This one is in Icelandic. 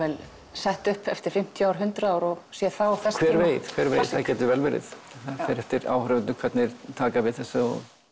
sett upp eftir fimmtíu eða hundrað ár og sé þá þess hver veit hver veit það gæti vel verið það fer eftir því áhorfendur taka við þessu